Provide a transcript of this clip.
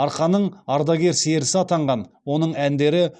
арқаның ардагер серісі атанған оның әндері